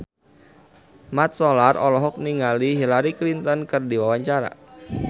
Mat Solar olohok ningali Hillary Clinton keur diwawancara